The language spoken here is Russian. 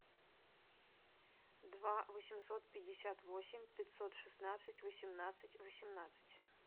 два восемьсот пятьдесят восемь пятьсот шестнадцать восемнадцать восемнадцать